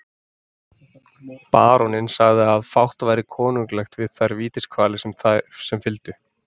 Baróninn sagði að fátt væri konunglegt við þær vítiskvalir sem fylgdu.